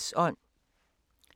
DR P2